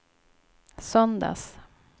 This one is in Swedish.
söndags